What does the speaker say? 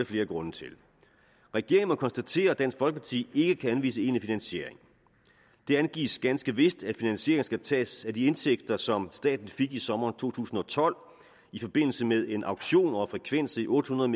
flere grunde til regeringen må konstatere at dansk folkeparti ikke kan anvise egentlig finansiering det angives ganske vist at finansieringen skal tages af de indtægter som staten fik i sommeren to tusind og tolv i forbindelse med en auktion over frekvenser i otte hundrede